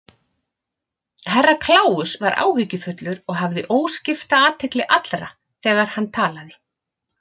Herra Kláus var áhyggjufullur og hafði óskipta athygli allra þegar hann talaði.